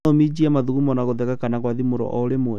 No ũminje mathugumo na gũtheka kana gwathimũra orĩmwe